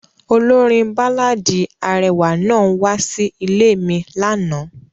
Olorin baláàdi arẹwa naa wa si ile mi lana.